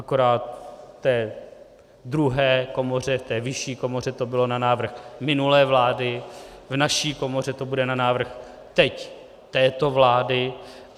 Akorát v té druhé komoře, v té vyšší komoře to bylo na návrh minulé vlády, v naší komoře to bude na návrh teď této vlády.